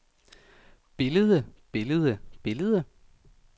billede billede billede